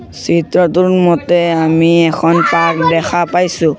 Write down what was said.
চিত্ৰটোৰ মতে আমি এখন পাৰ্ক দেখা পাইছোঁ।